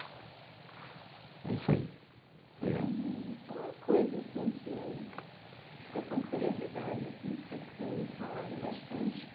é isso aí, obrigado. Só uma coisa assim, que estou com curiosidade assim, que você têm falado bastante,